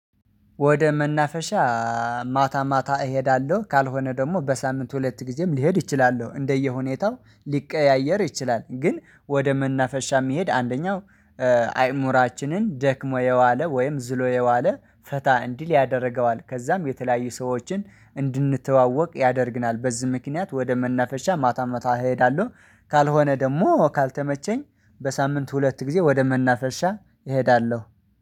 ወደ መናፈሻ ማታ ማታ እሄዳለሁ ካልሆነ ደግሞ በሳምንት ሁለት ጊዜም ልሄድ እችላለሁ እንደየ ሁኔታው ሊቀያየር ይችላል። ግን ወደ መናፈሻ የሚሄድ አንደኛው አይምሮአችንን ደክሞ የዋለ ወይም ዝሎ የዋለ ፈታ እንዲል ያደርገዋል። ከዛም የተለያዩ ሰዎችን እንድንተዋወቅ ያደርግናል። በዚህ ምክንያት ወደ መናፈሻ ማታ ማታ እሄዳለሁ። ካልሆነ ደግሞ ካልተመቸኝ በሳምንት ሁለት ጊዜ ወደ መናፈሻ እሄዳለሁ